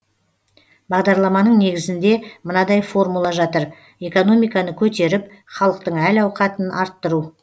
бағдарламаның негізінде мынадай формула жатыр экономиканы көтеріп халықтың әл ауқатын арттыру